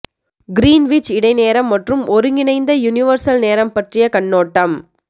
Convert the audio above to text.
Greenwich இடை நேரம் மற்றும் ஒருங்கிணைந்த யுனிவர்சல் நேரம் பற்றிய கண்ணோட்டம்